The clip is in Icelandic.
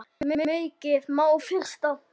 Maukið má frysta.